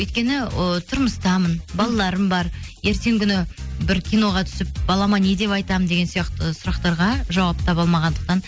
өйткені ы тұрмыстамын балаларым бар ертеңгі күні бір киноға түсіп балама не деп айтамын деген сияқты сұрақтарға жауап таба алмағандықтан